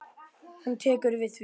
Hún tekur við því.